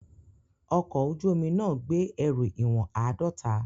Ọkọ̀ ojú omi náà gbé ẹrù ìwọ̀n àádọ́ta.